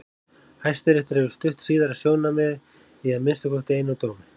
Hæstiréttur hefur stutt síðara sjónarmiðið í að minnsta kosti einum dómi.